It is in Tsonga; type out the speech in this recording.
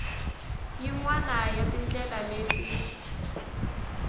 yin wana ya tindlela leti